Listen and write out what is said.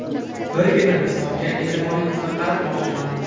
Birgina misolga e’tiboringizni qaratmoqchiman.